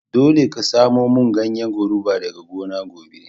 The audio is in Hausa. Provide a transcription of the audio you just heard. Dolle ka samo mun ganyen goruba daga gona gobe.